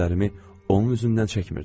Gözlərimi onun üzündən çəkmirdim.